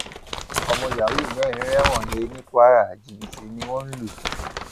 ọmọ yahoo mẹrin rẹwọn he ní kwara jìbìtì ni wọn lù